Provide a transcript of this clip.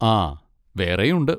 ആ, വേറെയും ഉണ്ട്.